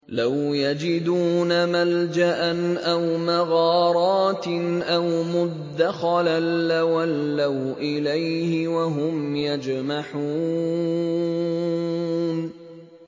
لَوْ يَجِدُونَ مَلْجَأً أَوْ مَغَارَاتٍ أَوْ مُدَّخَلًا لَّوَلَّوْا إِلَيْهِ وَهُمْ يَجْمَحُونَ